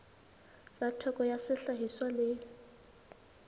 tsa theko ya sehlahiswa le